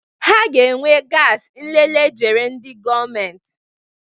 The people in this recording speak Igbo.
Ha ga-ewe gasi nlele jere ndị gọọmentị.